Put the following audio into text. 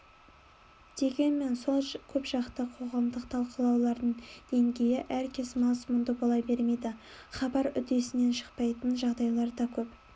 дегенмен сол көпжақты қоғамдық талқылаулардың деңгейі әркез мазмұнды бола бермейді хабар үдесінен шықпайтын жағдайлар да көп